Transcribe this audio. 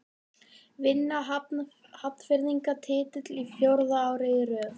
Vinna Hafnfirðingar titilinn fjórða árið í röð?